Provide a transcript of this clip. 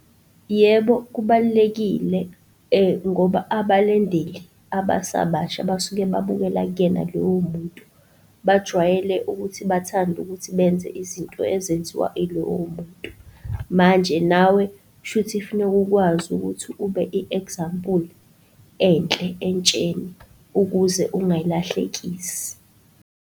Yebo, kubalulekile ngoba abalandeli abasabasha basuke babukela kuyena lowo muntu. Bajwayele ukuthi bathande ukuthi benze izinto ezenziwa ilowo muntu. Manje nawe kushuthi funeka ukwazi ukuthi ube i-example enhle entsheni ukuze ungayilahlekisi.